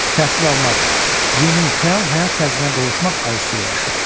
Təhsil almaq, yeni, fəal həyat tərzinə qovuşmaq arzusu ilə yaşayır.